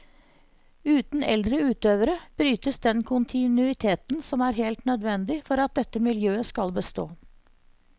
Uten eldre utøvere brytes den kontinuiteten som er helt nødvendig for at dette miljøet skal bestå.